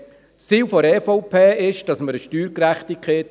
Das Ziel der EVP ist die Schaffung von Steuergerechtigkeit.